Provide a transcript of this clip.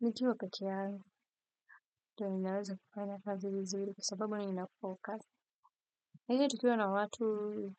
Nikiwa pekee yangu ndio ninaweza kufanya kazi vizuri kwa sababu ninapo kazi. Lakini tukiwa na watu